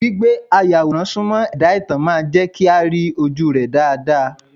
Gbígbé ayàwòrán Súmọ́ ẹ̀dá ìtàn máa jẹ́ kí a rí ojúu rẹ́ dáadáa.